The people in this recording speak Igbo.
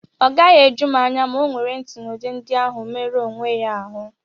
Ọ gaghị eju m anya ma ọ nwere ntụnụ ndi ahụ merụọ onwe ya ahụ́.